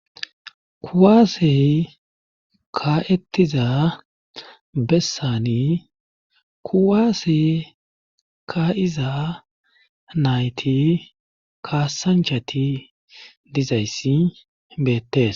kuwaasey kaa7etiza bessani kuwaasey ka7iza nayti kaasanchati dizayssi beettes